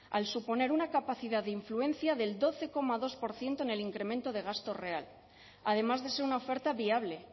al suponer una capacidad de influencia del doce coma dos por ciento en el incremento de gasto real además de ser una oferta viable